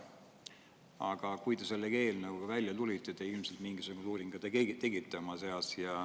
Aga kui te selle eelnõuga välja tulite, siis te ilmselt enne tegite ka mingisuguse uuringu.